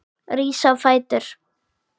Rís á fætur.